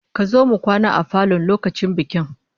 Zamu kwana a falon lokacin bikin